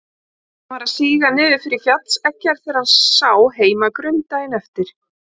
Sólin var að síga niður fyrir fjallseggjar þegar sá heim að Grund daginn eftir.